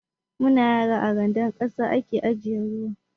Mu na yara, a randar ƙasa a ke ajiye ruwa.